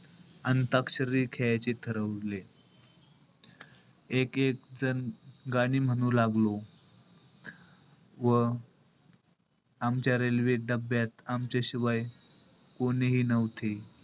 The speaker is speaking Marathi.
अंताक्षरी खेळायचे ठरवले. एक-एक जण गाणी म्हणू लागलो. व आमच्या railway डब्ब्यात आमच्या शिवाय कोणीही नव्हते.